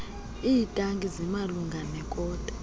iitaki zimalunga nekota